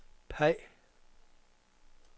peg